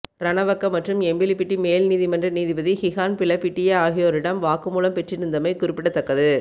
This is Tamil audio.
ரணவக்க மற்றும் எம்பிலிபிட்டி மேல்நீதிமன்ற நீதிபதி கிஹான் பிலப்பிட்டிய ஆகியோரிடம் வாக்குமூலம் பெறப்பட்டிருந்தமை குறிப்பிடத்தக்கது